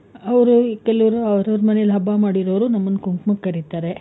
ಅವ್ರು ಕೆಲವ್ರು ಅವ್ರವ್ರ ಮನೆನಲ್ಲಿ ಹಬ್ಬ ಮಾಡಿರೋರು ನಮ್ಮನ್ ಕುಂಕುಮಕ್ ಕರೀತಾರೆ.